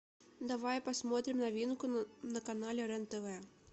давай посмотрим новинку на канале рен тв